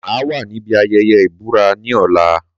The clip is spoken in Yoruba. Mà á wà níbi ayẹyẹ ìbúra ní ọ̀la.